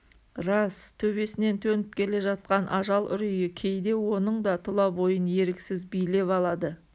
рас төбесінен төніп келе жатқан ажал үрейі кейде оның да тұла бойын еріксіз билеп алады